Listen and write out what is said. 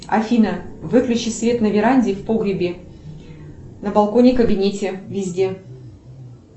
афина выключи свет на веранде и в погребе на балконе кабинете везде